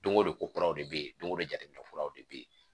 Don o don ko kuraw de bɛ yen don o don jateminɛw de bɛ ye